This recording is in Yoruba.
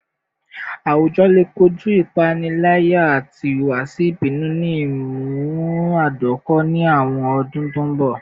Awujọ le koju ipanilaya ati ihuwasi ibinu ni imunadoko ni awọn ọdun to nbọ